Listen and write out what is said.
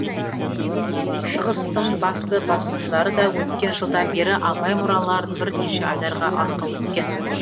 шығыстың басты басылымдары да өткен жылдан бері абай мұраларын бірнеше айдарға арқау еткен